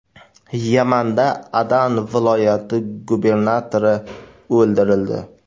Yamanda Adan viloyati gubernatori o‘ldirildi.